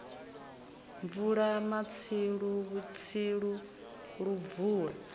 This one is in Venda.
bvula matsilu vhutsilu lu bvula